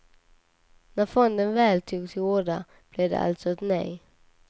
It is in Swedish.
När fonden väl tog till orda blev det alltså ett nej.